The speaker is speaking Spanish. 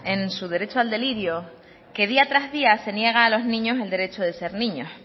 en su derecho al delirio que día tras día se niega a los niños el derecho de ser niños